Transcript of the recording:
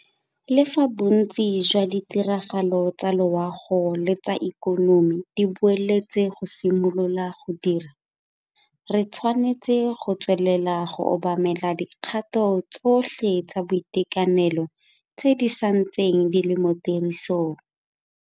Le fa bontsi jwa ditiragalo tsa loago le tsa ikonomi di buletswe go simolola go dira, re tshwanetse go tswelela go obamela dikgato tsotlhe tsa boitekanelo tse di santseng di le mo tirisong.